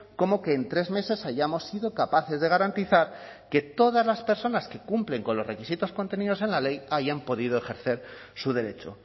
como que en tres meses hayamos sido capaces de garantizar que todas las personas que cumplen con los requisitos contenidos en la ley hayan podido ejercer su derecho